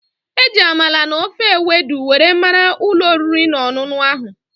E ji Amala na ofe Ewedu were mara ulo oriri na onunu ahu